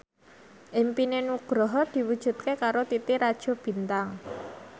impine Nugroho diwujudke karo Titi Rajo Bintang